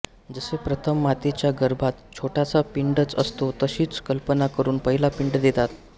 जसे प्रथम मातेच्या गर्भात छोटासा पिंडच असतो तशीच कल्पना करून पहिला पिंड देतात